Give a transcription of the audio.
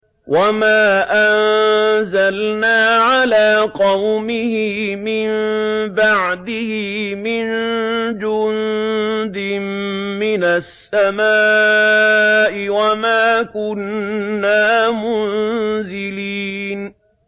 ۞ وَمَا أَنزَلْنَا عَلَىٰ قَوْمِهِ مِن بَعْدِهِ مِن جُندٍ مِّنَ السَّمَاءِ وَمَا كُنَّا مُنزِلِينَ